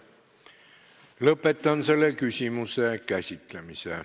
Lõpetan selle küsimuse käsitlemise.